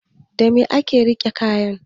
Dame ake rina kaya?